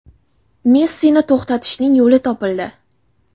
Messini to‘xtatishning yo‘li topildi.